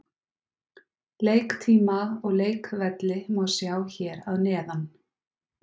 Leiktíma og leikvelli má sjá hér að neðan.